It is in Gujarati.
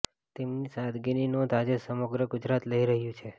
તેમની સાદગીની નોંધ આજે સમગ્ર ગુજરાત લઇ રહ્યું છે